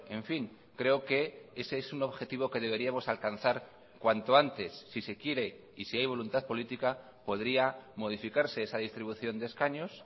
en fin creo que ese es un objetivo que deberíamos alcanzar cuanto antes si se quiere y si hay voluntad política podría modificarse esa distribución de escaños